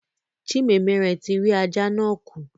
Chinemerem ti rí ajá náà kù.